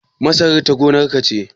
Masarar ta gonar ka ce?